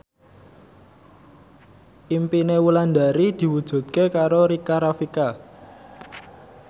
impine Wulandari diwujudke karo Rika Rafika